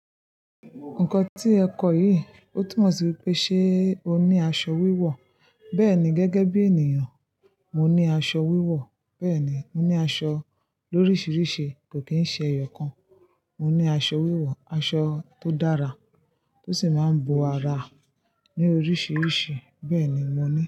Nǹkan tí ẹ kọ̀ yìí, ó túnmọ̀ sí wípé ṣe o ní aṣọ wíwọ̀? Bẹ́ẹ̀ni, gẹ́gẹ́ bí ènìyàn, mo ní aṣọ wíwọ̀. Bẹ́ẹ̀ ni, mo ní aṣọ lóríṣiríṣi, kò kí ń ṣe ẹyọ kan. Mo ní aṣọ wíwọ̀, aṣọ tó dára, tó sì máa ń bo ara ní oríṣiríṣi. Bẹ́ẹ̀ni mo ní.